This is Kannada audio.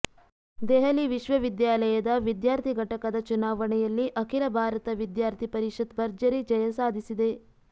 ದೆಹಲಿ ವಿಶ್ವವಿದ್ಯಾಲಯದ ವಿದ್ಯಾರ್ಥಿ ಘಟಕದ ಚುನಾವಣೆಯಲ್ಲಿ ಅಖಿಲ ಭಾರತ ವಿದ್ಯಾರ್ಥಿ ಪರಿಷತ್ ಭರ್ಜರಿ ಜಯ ಸಾಧಿಸಿದೆ